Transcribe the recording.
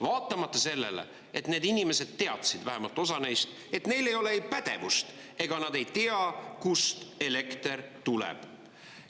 Vaatamata sellele, et need inimesed teadsid, vähemalt osa neist, et neil ei ole ei pädevust ega nad ei tea, kust elekter tuleb.